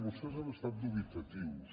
vostès han estat dubitatius